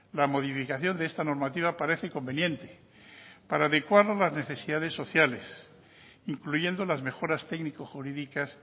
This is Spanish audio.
la modificación de esta normativa parece conveniente para adecuar las necesidades sociales incluyendo las mejoras técnico jurídicas